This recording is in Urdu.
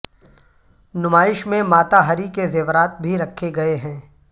نمائش میں ماتا ہری کے زیورات بھی رکھے گئے ہیں